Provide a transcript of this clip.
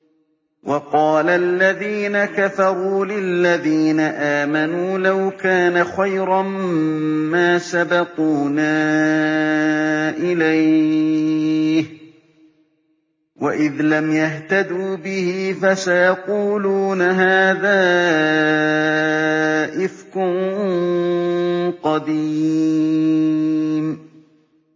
وَقَالَ الَّذِينَ كَفَرُوا لِلَّذِينَ آمَنُوا لَوْ كَانَ خَيْرًا مَّا سَبَقُونَا إِلَيْهِ ۚ وَإِذْ لَمْ يَهْتَدُوا بِهِ فَسَيَقُولُونَ هَٰذَا إِفْكٌ قَدِيمٌ